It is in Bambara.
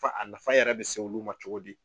Fa a nafa yɛrɛ bɛ se olu ma cogo di?